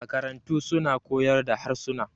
makarantu suna kaoyar da harsuna